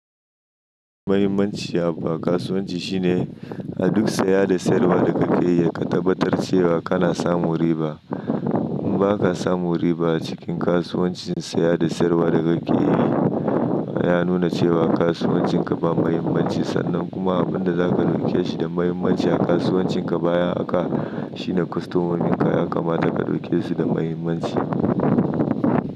Mahimmanci a kasuwanci shine a duk siya da siyarwa da kake yi, ka tabbatar cewa kana samun riba. In ba ka samun riba a cikin kasuwancin siya da siyarwa da kake yi, ya nuna cewa kasuwancinka ba muhimmanci. Sannan kuma abin da za ka ɗauke shi da muhimmanci a kasuwancinka bayan haka, shine kwastomomin ka ya kamata ka ɗauke su da muhimmanci.